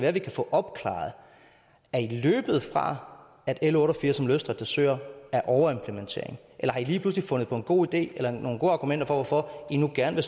at vi kan få opklaret er i løbet fra at l otte og firs om løsdrift af søer er overimplementering eller har i lige pludselig fundet på en god idé eller nogle gode argumenter for hvorfor i nu gerne